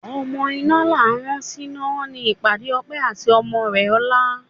Ọmọ iná là á rán síná ni ìpàdé Ọpẹ́ àti ọmọ rẹ ọ̀la